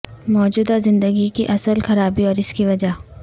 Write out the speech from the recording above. موجودہ زندگی کی اصل خرابی اور اس کی وجہ